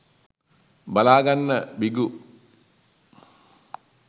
බලා ගන්න බිඟු.